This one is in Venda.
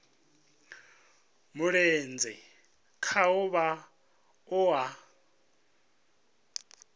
mulenzhe khaho vha o a